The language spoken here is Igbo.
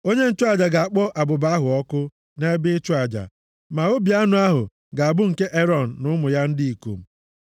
Onye nchụaja ga-akpọ abụba ahụ ọkụ nʼebe ịchụ aja, ma obi anụ ahụ ga-abụ nke Erọn na ụmụ ya ndị ikom.